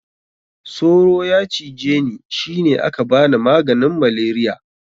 Soro ya cije ni shi ne aka bani maganin malaria.